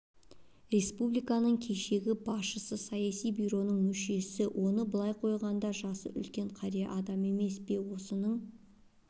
республиканың кешегі бірінші басшысы саяси бюроның мүшесі оны былай қойғанда жасы үлкен қария адам емес пе осының